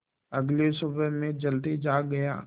अगली सुबह मैं जल्दी जाग गया